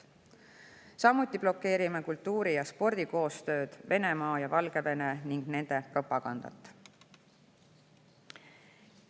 Samuti blokeerime kultuuri‑ ja spordikoostööd Venemaa ja Valgevenega ning nende propagandat.